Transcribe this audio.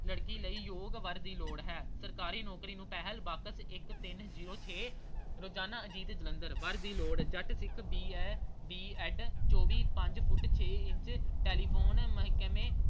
ਲੜਕੀ ਲਈ ਯੋਗ ਵਰ ਦੀ ਲੋੜ ਹੈ ਸਰਕਾਰੀ ਨੌਕਰੀ ਨੂੰ ਪਹਿਲ ਬਾਕਸ ਇੱਕ ਤਿੰਨ ਜ਼ੀਰੋ ਛੇ ਰੋਜ਼ਾਨਾ ਅਜੀਤ ਜਲੰਧਰ। ਵਰ ਦੀ ਲੋੜ Jat Sikh B. A, B. ED ਚੌਵੀ ਪੰਜ ਫੁੱਟ ਛੇ ਇੰਚ telephone ਮਹਿਕਮੇ